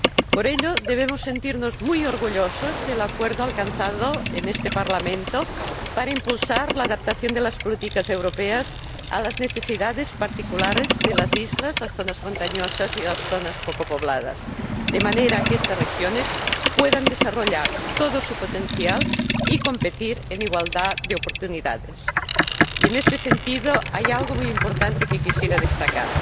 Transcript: Por ello, debemos sentirnos muy orgullosos del acuerdo alcanzado en este Parlamento para impulsar la adaptación de las políticas europeas a las necesidades particulares de las islas, las zonas montañosas y las zonas poco pobladas de manera que estas regiones puedan desarrollar todo su potencial y competir en igualdad de oportunidades. Y, en este sentido, hay algo muy importante que quisiera destacar